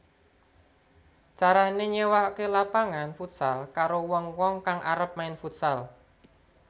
Carané nyéwakaké lapangan futsal karo wong wong kang arep main futsal